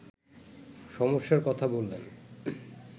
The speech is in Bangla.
সমস্যার কথা বললেন